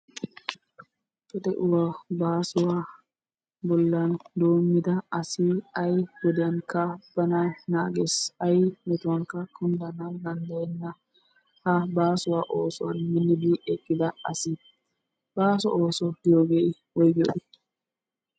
De'uwa baasuwa bollan doommida asi ay wodiyankka bana naages. Ayi metuwankka kunddana danddayenna. Ha baasuwa oosuwan minnidi eqqida asi. Baaso ooso giyoogee woyigiyoogee?